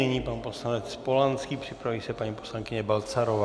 Nyní pan poslanec Polanský, připraví se paní poslankyně Balcarová.